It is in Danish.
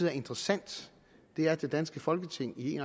er interessant er at det danske folketing i